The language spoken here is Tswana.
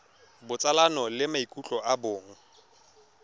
botsalano le maikutlo a bong